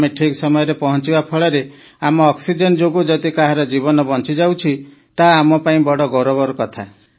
ଆମେ ଠିକ ସମୟରେ ପହଞ୍ଚିବା ଫଳରେ ଆମ ଅକ୍ସିଜେନ ଯୋଗୁ ଯଦି କାହାର ଜୀବନ ବଞ୍ଚି ଯାଉଛି ତାହା ଆମ ପାଇଁ ବଡ଼ ଗୌରବର କଥା